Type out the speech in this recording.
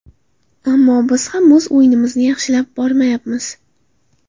Ammo biz ham o‘z o‘yinimizni yaxshilab boryapmiz.